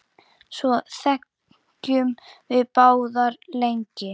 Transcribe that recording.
Svo þegjum við báðar lengi.